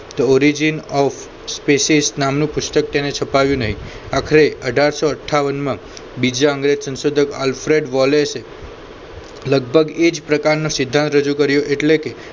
a the origin of species નામનું પુસ્તક તેને છપાવ્યું નહીં આખરે અઢારસો અઠાવન માં બીજા અંગ્રેજ સંશોધક આલ્ફ્રેડ વોલેષે એ લગભગ એ જ પ્રકારનો સિદ્ધાંત રજૂ કર્યો એટલે કે